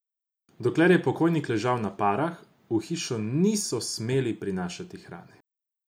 Dokler je pokojnik ležal na parah, v hišo niso smeli prinašati hrane.